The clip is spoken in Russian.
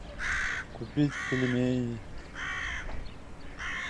купить пельмени